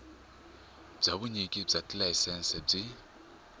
bya vunyiki bya tilayisense byi